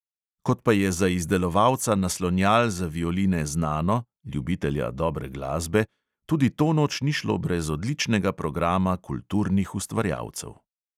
Kot pa je za izdelovalca naslonjal za violine znano, ljubitelja dobre glasbe, tudi to noč ni šlo brez odličnega programa kulturnih ustvarjalcev.